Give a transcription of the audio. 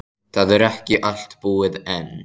Það er ekki allt búið enn.